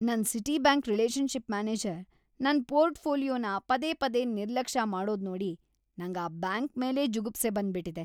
ನನ್ Citibank relationship manager ನನ್ ಪೋರ್ಟ್‌ಫೋಲಿಯೋನ ಪದೇ ಪದೇ ನಿರ್ಲಕ್ಷ್ಯ ಮಾಡೋದ್ನೋಡಿ ನಂಗ್‌ ಆ ಬ್ಯಾಂಕ್‌ ಮೇಲೇ ಜುಗುಪ್ಸೆ ಬಂದ್ಬಿಟಿದೆ.